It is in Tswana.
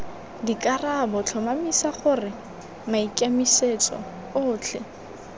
dikarabo tlhomamisa gore maikemisetso otlhe